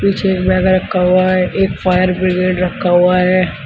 पीछे एक बैग रखा हुआ है एक फायर ब्रिगेड रखा हुआ है।